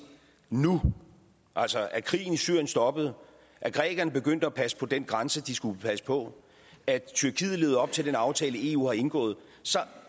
nu altså at krigen i syrien stoppede at grækerne begyndt at passe på den grænse de skulle passe på at tyrkiet levede op til den aftale eu har indgået så